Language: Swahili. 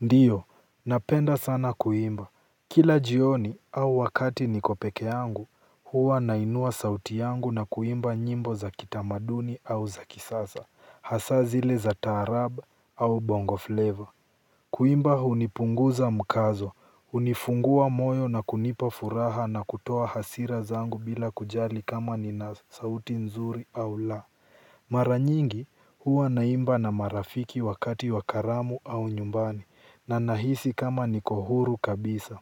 Ndio, napenda sana kuimba. Kila jioni au wakati niko peke yangu, huwa nainua sauti yangu na kuimba nyimbo za kitamaduni au za kisasa, hasa zile za taarab au bongo flavor. Kuimba hunipunguza mkazo, hunifungua moyo na kunipa furaha na kutoa hasira zangu bila kujali kama nina sauti nzuri au la. Mara nyingi huwa naimba na marafiki wakati wa karamu au nyumbani na nahisi kama niko huru kabisa.